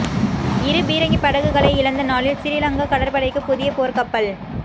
இரு பீரங்கிப் படகுகளை இழந்த நாளில் சிறிலங்கா கடற்படைக்குப் புதிய போர்க்கப்பல்